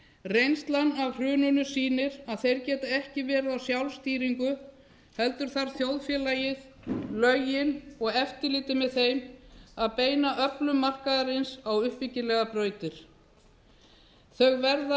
reynslan af hruninu sýnir að þeir geta ekki verið á sjálfstýringu heldur þarf þjóðfélagið lögin og eftirlitið með þeim að beina öflun markaðarins á uppbyggilegar brautir þau verða að